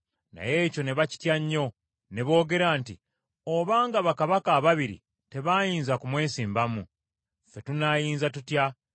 Naye ekyo ne bakitya nnyo, ne boogera nti, “Obanga bakabaka ababiri tebaayinza kumwesimbamu, ffe tunaayinza tutya?”